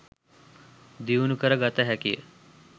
දියුණු කැර ගත හැකියි.